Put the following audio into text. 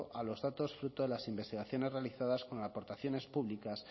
a los datos fruto de las investigaciones realizadas con aportaciones públicas